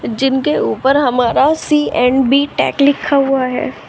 जिनके ऊपर हमारा सी एंड बी टेक लिखा हुआ है।